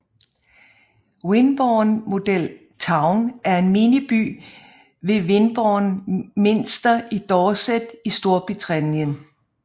Wimborne Model Town er en miniby ved Wimborne Minster i Dorset i Storbritannien